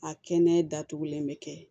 A kɛnɛ datugulen bɛ kɛ